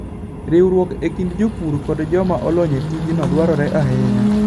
Riwruok e kind jopur kod joma olony e tijno dwarore ahinya.